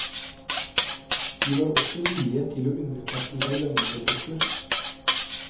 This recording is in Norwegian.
De var også villige til å underkaste seg løgndetektor.